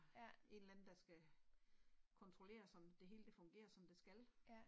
Ja. Ja